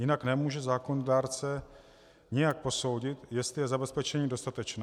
Jinak nemůže zákonodárce nijak posoudit, jestli je zabezpečení dostatečné.